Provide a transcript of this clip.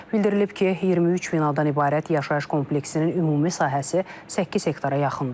Bildirilib ki, 23 binadan ibarət yaşayış kompleksinin ümumi sahəsi 8 hektara yaxındır.